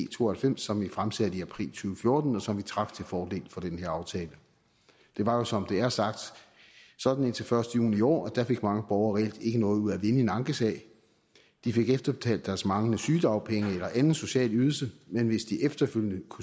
to og halvfems som vi fremsatte i april to tusind og fjorten og som vi trak til fordel for den her aftale det var jo som det er sagt sådan indtil den første juni i år at der fik mange borgere reelt ikke noget ud af at vinde en ankesag de fik efterbetalt deres manglende sygedagpenge eller anden social ydelse men hvis de efterfølgende